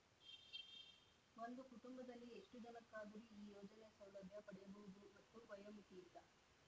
ಒಂದು ಕುಟುಂಬದಲ್ಲಿ ಎಷ್ಟುಜನಕ್ಕಾದರೂ ಈ ಯೋಜನೆಯ ಸೌಲಭ್ಯ ಪಡೆಯಬಹುದು ಮತ್ತು ವಯೋಮಿತಿಯಿಲ್ಲ